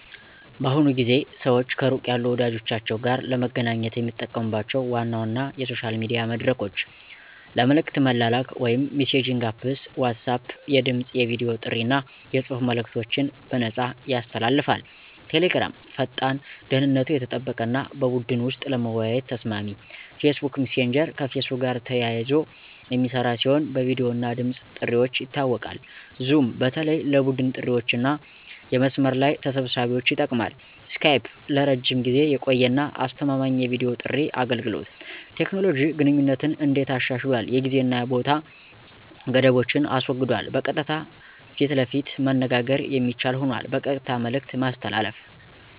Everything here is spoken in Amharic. በአሁኑ ጊዜ ሰዋች ከሩቅ ያሉ ወዳጀቻችዉ ጋር ለመገናኘት የሚጠቀሙባቸው ዋና ዋና የሶሻል ሚዲያ መድረኮች ለመልእክት መላላክ (messaging Apps) WhatsApp የድምፅ፣ የቨዲ ጥሪ አና የጽሑፍ መልእከቶችን በነፃያሰ ያስተላልፋል። Telegram ፈጣን፣ ደህንነቱ የተጠበቀ አና በቡድን ወሰጥ ለመወያየት ተሰማሚ። Facebook messager ከፌስቡክ ጋር ተያይዘ የሚስራ ሲሆን በቪዲዮ እና ድምፅ ጥርዋች ይታወቃል። zoom በተለይ ለቡድን ጥሪዋችአና የመስመር ለይ ተሰብሳቢዎች ይጠቅማል። skype ለረጅም ጊዜ የቆየ አና አስተማማኝ የቪዲዮ ጥሪ አገልገሎት። ቴኮኖሎጂ ግንኙነትን እንዴት አሻሽሏል የጊዜ አና የቦታ ገደቦችን አስወግዷል በቀጥታ ፈት ለፈት መነጋገር የሚችል ሆኗል። በቀጥታ መልእክት ማስተላለፍ